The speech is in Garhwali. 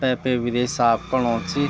तेपे विदे साफ़ कनु च।